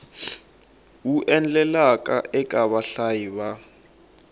wu endlaka eka vahlayi va